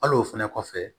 Al'o fɛnɛ kɔfɛ